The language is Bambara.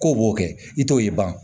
K'o b'o kɛ i t'o ye